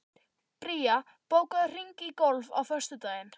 Bría, bókaðu hring í golf á föstudaginn.